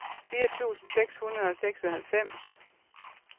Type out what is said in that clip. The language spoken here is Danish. fire tusind seks hundrede og seksoghalvfems